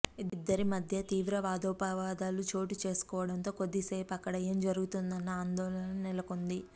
ఇద్దరి మధ్య తీవ్ర వాదోపవాదాలు చోటు చేసు కోవడంతో కొద్ది సేపు అక్కడ ఏం జరుగుతుందోనన్న ఆందోళన నెలకొంది